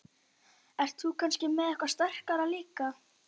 Þú ert kannski með eitthvað sterkara líka?